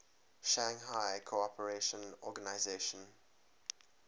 shanghai cooperation organization